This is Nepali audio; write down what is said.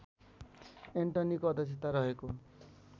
एन्टनीको अध्यक्षता रहेको